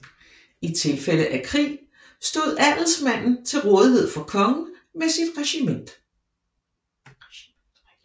I tilfælde af krig stod adelsmanden til rådighed for kongen med sit regiment